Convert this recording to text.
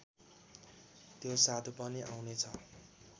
त्यो साधु पनि आउनेछ